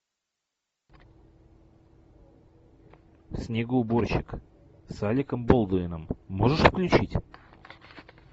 снегоуборщик с алеком болдуином можешь включить